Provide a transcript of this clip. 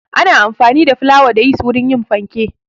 Ana amfani da flawa da yist wurin yin fanke.